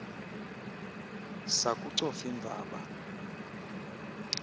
sakucofimvaba